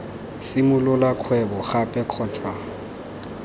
simolola kgwebo gape kgotsa ii